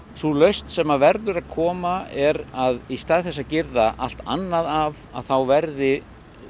sú lausn sem verður að koma er að í stað þess að girða allt annað af að þá verði